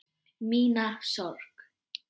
Mína sorg.